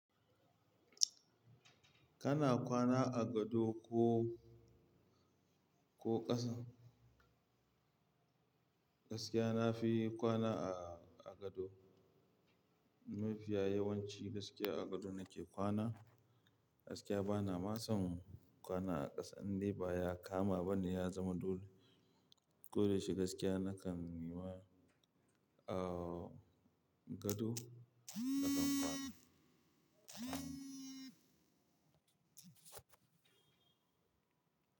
Kana kwana a gado ko, ko ƙasan? Gaskiya nafi kwana a, a gado. Mafiya yawanci gaskiya a gado nake kwana. Gaskiya bana masu kwana a ƙasa, inda baya kama bane ya zama dole. Ko da yaushe gaskiya nakan yiwa, ah gado nakan kwana.